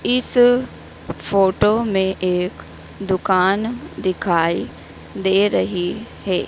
इस फोटो में एक दुकान दिखाई दे रही है।